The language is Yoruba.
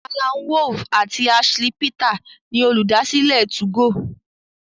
Allan Wolff àti Ashley Peter ni Olùdásílẹ̀ 2go.